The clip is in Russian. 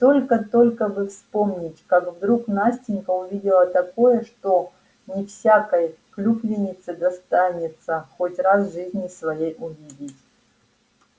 и только-только бы вспомнить как вдруг настенька увидела такое что не всякой клюквеннице достанется хоть раз в жизни своей увидеть